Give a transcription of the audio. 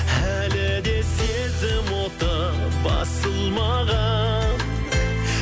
әлі де сезім оты басылмаған